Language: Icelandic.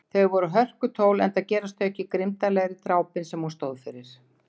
Þau voru hörkutól enda gerast þau ekki grimmdarlegri, drápin sem hún stóð fyrir.